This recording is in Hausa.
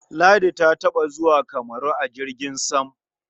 Ladi taɓa zuwa Kamaru a jirgin sam.